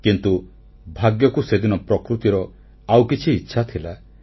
କିନ୍ତୁ ଭାଗ୍ୟକୁ ସେଦିନ ପ୍ରକୃତିର ଆଉକିଛି ଇଚ୍ଛା ଥିଲା